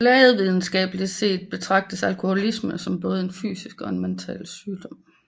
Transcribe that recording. Lægevidenskabeligt set betragtes alkoholisme som både en fysisk og en mental sygdom